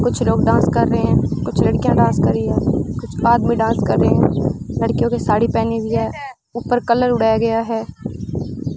कुछ लोग डांस कर रहे हैं कुछ लड़कियां डांस कर रही हैं कुछ आदमी डांस कर रहे हैं लड़कियों के साड़ी पहनी हुई है ऊपर कलर उड़ाया गया है।